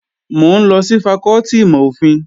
Mò ń lọ sí fakọ́tì ìmọ̀-òfin